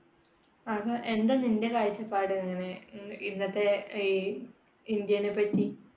അപ്പൊ എന്താ നിന്റെ കാഴ്ചപ്പാട് ഇങ്ങനെ ഇന്നത്തെ ഈ ഇന്ത്യനെപ്പറ്റി